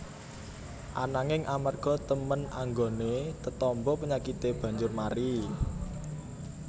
Ananging amarga temen anggoné tetamba penyakité banjur mari